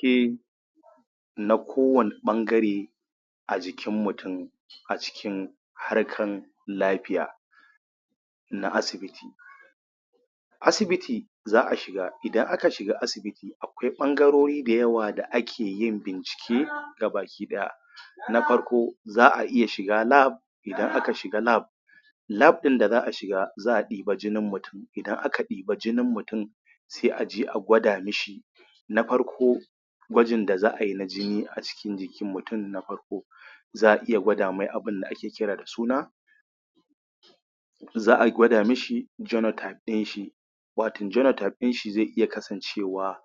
shi na kowane ɓangare a jikin mutum a cikin harkar lafiya na asibiti asibiti za a shiga idan asibita akwai ɓangarori da yawa da ake yin bincike ga baki ɗaya na farko za a iya shiga Lab idan aka shiga Lab Lab ɗin da za a shiga za a ɗiba jinin mutum, idan aka ɗiba jinin mutum sai aje a gwada mashi na farko gwajin da za ai na jina a cikin jikin mutum na farko za a iya gwada mai abin da ake kira da suna za a gwada mishi geno type ɗin shi wato genotype ɗin shi zai iya kasancewa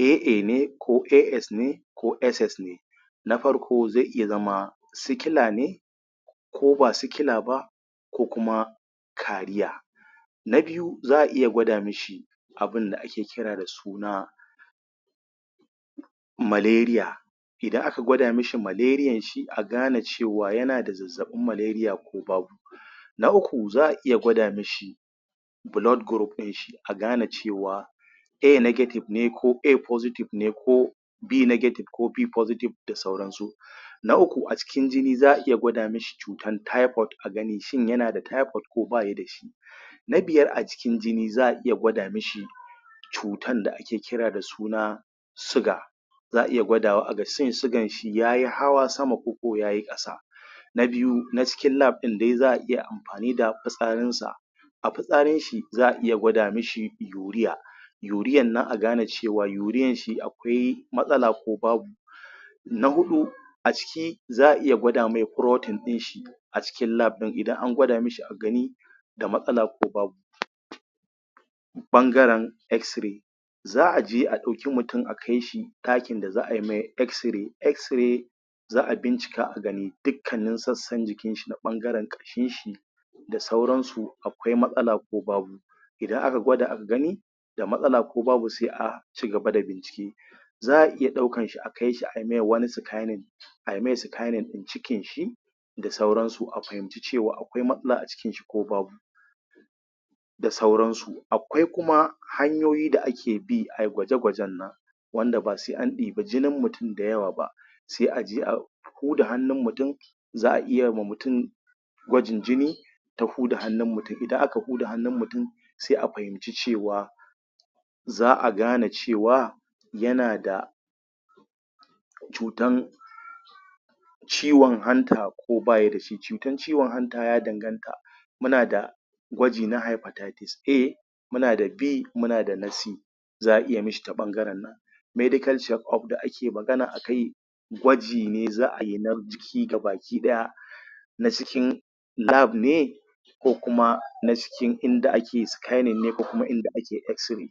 AA ne ko AS ne ko SS ne na farko zai iya zama sikila ne ko ba sila ba ko kuma carrier na biyu za a iya gwada mashi abinda ake kira da suna Malaria idan aka gwada mashi malarian shi a gane cewa yana da zabbabin malaria ko babe na uku za a iya gwada mashi blood group ɗin shi a gane cewa A negative ne ko A positive ne ko B negative ko B positive ne da sauransu. Na uku a cikin jini za a iya gwada mashi cutar typoid a gani ko yana da typoid ko ba ya da shi na biyar a cikin jini za a iya gwada mashi cutan da ake kira da suna siga. za a iya gwadwa a gani siganshi ya yi hawa sama ko yayi ƙasa na biyu na cikin Lab ɗin dai za a iya amfani da fitsarinsa a fitsarinshi za aiya gwada mishi urea urean nan a gane cewa urean shi akwai matsala ko babu na huɗu a ciki za a iya gwada mai protain ɗin shi a cikin lab ɗin idan an gwada mashi a gani akwai matsala ko babu ɓangaren xray za a je a ɗauki mutum akai shi ɗakin da za a mai x ray, x ray za a bincika a gani dukkan sannan jikinshi na ɓangaren ƙashinshi da sauransu akwai matsala ko babu idan aka gwada aka gani da matsala ko babu sai a ci gaba da bincike za a iya ɗaukan shi a akai shi ai mashi wani scanning, ai mai scanning ɗin cikinshi da sauransu a fahimci cewa a kwai matsala a cikin shi ko babu da sauransu akwai kuma hanyoyi da ake bi ai gwaje-gwajen nan wanda ba sai an ɗebi jinin mutum da yawa ba sai aje ko da hannun mutum za a iya wa mutum gwajin jini da huda hannun mutum, idan aka huda hannun mutum sai a fahimci cewa za a gane cewa yana da cutan ciwon hanta ko baya da shi. Cutan ciwon hanta ya danganta muna da gwaji ya hypotitis A muna da B muna da na C. za a iya mishi ta ɓangaren medical chekup da ake magana akai gwaji ne za a yi na jiki ga baki ɗaya na cikin Lab ne ko kuma na cikin inda ake scanning ne ko kuma inda ake x ray.